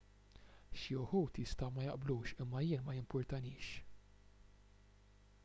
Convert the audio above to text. xi wħud jistgħu ma jaqblux imma jien ma jimpurtanix